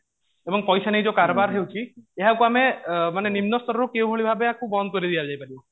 ଏବଂ ପଇସା ନେଇ ଯୋଉ କାରବାର ହେଉଛି ଏହାକୁ ଆମେ ଅ ମାନେ ନିମ୍ନ ସ୍ତରରୁ କେଉଁ ଭଳି ଭାବେ ବନ୍ଦ କରି ଦିଆଯାଇ ପାରିବ